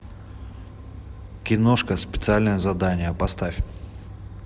киношка специальное задание поставь